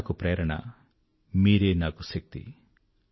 మీరే నాకు ప్రేరణ మీరే నాకు శక్తి